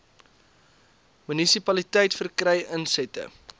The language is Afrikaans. munisipaliteit verkry insette